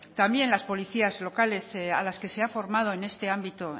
también las policías locales a las que se ha formado en este ámbito